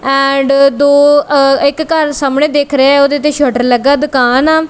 And ਦੋ ਆਹ ਇੱਕ ਘਰ ਸਾਹਮਣੇ ਦਿੱਖ ਰਹੇ ਓਹਦੇ ਦੇ ਸ਼ੱਟਰ ਲੱਗਾ ਦੁਕਾਨ ਆ।